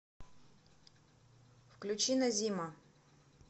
включи назима